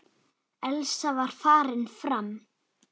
Elsa var farin fram.